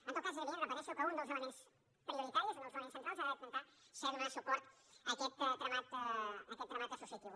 en tot cas és evident ho repeteixo que un dels elements prioritaris un dels elements centrals ha d’intentar ser donar suport a aquest tramat associatiu